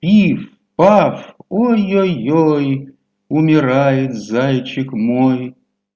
пиф паф ой-е-ёй умирает зайчик мой